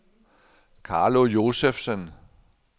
Carlo Josefsen